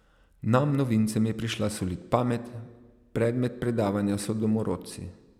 Nam novincem je prišla solit pamet, predmet predavanja so domorodci.